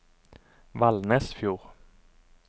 Valnesfjord